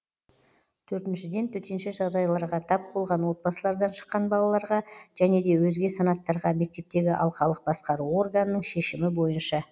төртіншіден төтенше жағдайларға тап болған отбасылардан шыққан балаларға және де өзге санаттарға мектептегі алқалық басқару органының шешімі бойынша